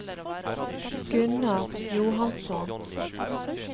Gunnar Johansson